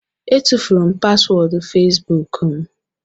Etufuru m paswọọdụ fesbuk m